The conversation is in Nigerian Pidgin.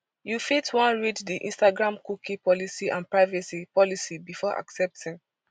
you fit wan read di instagram cookie policy and privacy policy before accepting